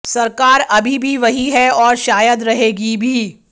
सरकार अभी भी वही है और शायद रहेगी भी